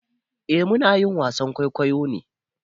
Eh muna yin wasan kwaikwayo ne.